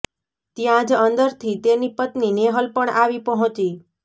ત્યાં જ અંદરથી તેની પત્ની નેહલ પણ આવી પહોંચી